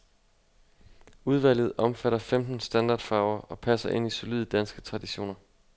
Udvalget omfatter femten standardfarver, og passer ind i solide danske traditioner.